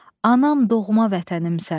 Anam doğma vətənimsən.